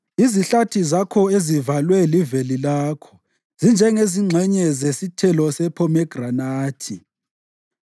Izihlathi zakho ezivalwe liveli lakho zinjengezingxenye zesithelo sephomegranathi.